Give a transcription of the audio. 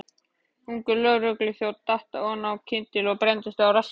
Ungur lögregluþjónn datt oná kyndil og brenndist á rassi.